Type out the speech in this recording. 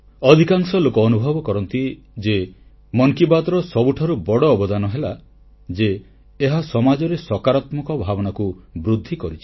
ଅଧିକାଂଶ ଲୋକ ଅନୁଭବ କରନ୍ତି ଯେ ମନ କି ବାତ୍ର ସବୁଠାରୁ ବଡ଼ ଅବଦାନ ହେଲା ଯେ ଏହା ସମାଜରେ ସକାରାତ୍ମକ ଭାବନାକୁ ବୃଦ୍ଧି କରିଛି